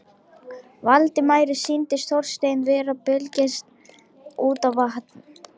Valdimari sýndist Þorsteinn vera að belgjast út af van